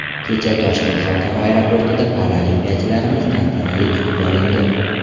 Kecha Toshkent xalqaro aeroportida paralimpiyachilarimiz tantanali kutib olindi.